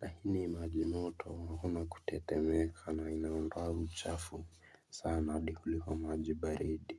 Lakini majimoto akuna kutetemeka na inaondoa uchafu sana hadi kuliko majibaridi.